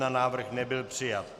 Návrh nebyl přijat.